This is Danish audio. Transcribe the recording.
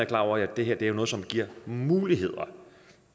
klar over at det her er noget som giver muligheder